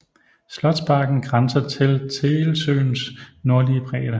Slotsparken grænser til Tegelsøens nordlige bredde